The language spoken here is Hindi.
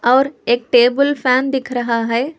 और एक टेबल फैन दिख रहा है।